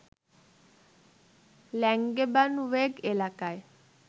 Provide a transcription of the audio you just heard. Langebaanweg এলাকায়